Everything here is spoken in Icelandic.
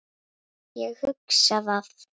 Ég hugsa það.